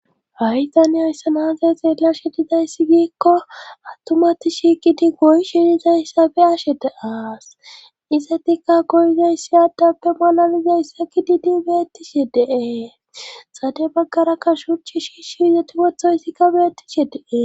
hay taniyoyssa naazay xeella shidizayssi giikko attumati shiqidi goy shidizayssa beyashe de aas isetikka goyzayssi addappe malalizayssa kididi beettishi dee xade baggarakka shuchi shiishshi yoti wotho yssikka beettishe dee